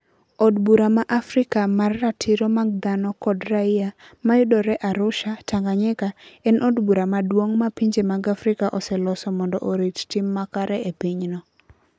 Od Bura ma Afrika mar Ratiro mag Dhano kod Raia, ma yudore Arusha, Tanganyika, en od bura maduong ' ma pinje mag Afrika oseloso mondo orit tim makare e pinyno.